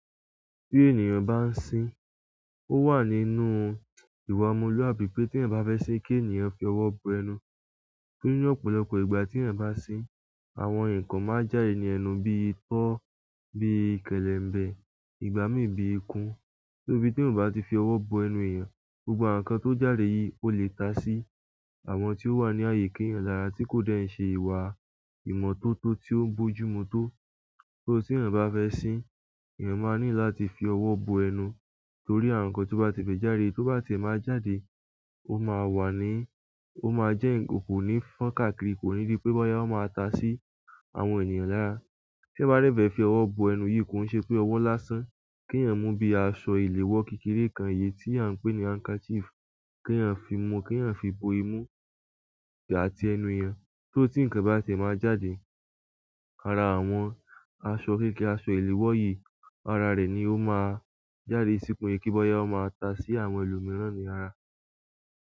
Tí ènìyàn bá ń sin, ó wà nínú ìwà ọmọlúwàbí pé tí èèyàn bá fẹ́ sin kí ènìyàn fi ọwọ́ bo ẹnu. Torí ni ọ̀pọ̀lọpọ̀ ìgbà tí èèyàn bá sin, àwọn nǹkan máa n já dẹ ni ẹnu bíi itọ́, bí i kẹ̀lẹ̀ ń bẹ, ìgbà mí bíi ikún. Torí bí tí èèyàn ò bá ti fi ọwọ́ bo ẹnu èèyàn, gbogbo àwọn nǹkan tó já de yìí ó lè ta sí àwọn tí ó wà ní àyíká èèyàn lára tí kò dẹ̀ ṣe ìwà ìmọ́tótó tí ó ń bójú mu tó. Torí tí èèyàn bá fẹ́ sin, èèyàn máa nílò láti fi ọwọ́ bo ẹnu torí àwọn nǹkan tó bá ti bẹ jáde, tó bá ti ẹ máa jáde, ó máa wà ní, ó máa jẹ́ ǹkan kò ní fọ́n káàkiri, kò ní dì pé bọ́yá ó máa ta sí àwọn ènìyàn lára. Tí eyan ba dẹ fẹ fi ọwọ́ bo ẹnu yìí kò ń ṣe pé ọwọ́ lásán. Kí èèyàn mú bí i aṣọ iléwọ́ kékeré kan èyí tí a ń pè ní handkerchief, kí èèyàn fi mú, kí èèyàn fi bo imú àti ẹnu èèyàn torí tí ǹkan bá ti e máa jáde, ara àwọn aṣọ kékeré, aṣọ iléwọ́ yìí, ara rẹ̀ ni ó máa jáde sí ke se kí bọ́yá ó máa ta sí àwọn ẹlòmíràn ní ara.